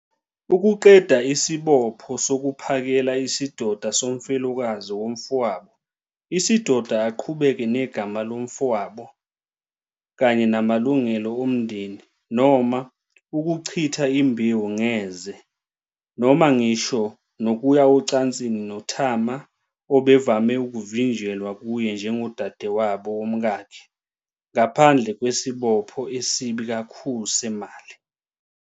ukuqeda isibopho sokuphakela isidoda somfelokazi womfowabo isidoda aqhubeke negama lomfowabo, kanye namalungelo omndeni, noma "ukuchitha imbewu ngeze", noma ngisho nokuya ocansini noTamar, obevame ukuvinjelwa kuye njengodadewabo womkakhe, ngaphandle kwesibopho esibi kakhulu semali.